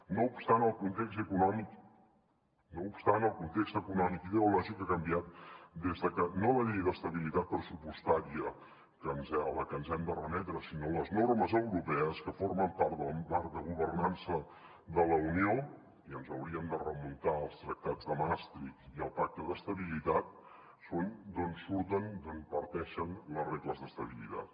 no obstant el context econòmic i ideològic ha canviat des de que no la llei d’estabilitat pressupostària a la que ens hem de remetre sinó les normes europees que formen part del marc de governança de la unió i ens hauríem de remuntar als tractats de maastricht i al pacte d’estabilitat són d’on surten d’on parteixen les regles d’estabilitat